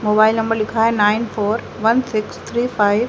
Mobile number लिखा है nine four one six three five.